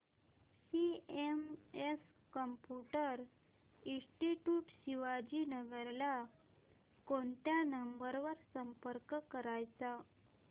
CMS computer institute Shivajinagar ला कोणत्या number वर संपर्क करायचा